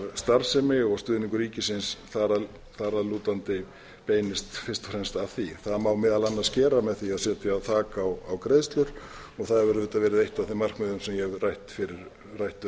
starfsemi og stuðningur ríkisins þar að lútandi beinist fyrst og fremst að því það má meðal annars gera með því að setja þak á greiðslur og það hefur verið eitt af þeim markmiðum sem ég hef rætt